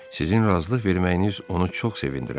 Sizin razılıq verməyiniz onu çox sevindirərdi.